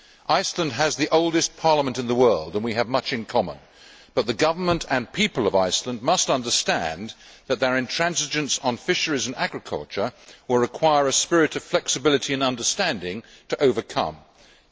Iceland has the oldest parliament in the world and we have much in common, but the government and people of Iceland must understand that their intransigence on fisheries and agriculture will require a spirit of flexibility and understanding to overcome this.